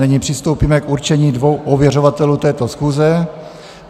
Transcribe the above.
Nyní přistoupíme k určení dvou ověřovatelé této schůze.